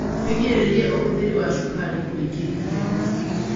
wĩgirĩrĩrie ũhũthĩri wa cukari kũingĩ irio-ini